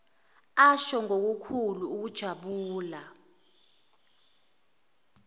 asho ngokukhulu ukujabula